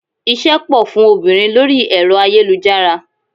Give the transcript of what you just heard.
Iṣẹ́ pò fún obìnrin lórí ẹ̀rọ ayélujára.